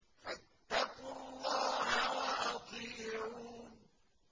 فَاتَّقُوا اللَّهَ وَأَطِيعُونِ